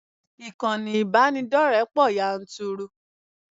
Ìkànnì ìbánidọ́rẹ̀ẹ́ pọ̀ yanturu.